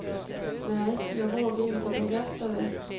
Nä, jag vågar inte berätta det.